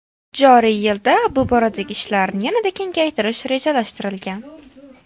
Joriy yilda bu boradagi ishlarni yanada kengaytirish rejalashtirilgan.